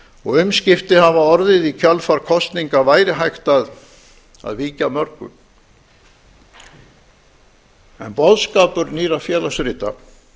og umskipti hafa orðið í kjölfar kosninga væri hægt að víkja að mörgu en boðskapur nýrra félagsrita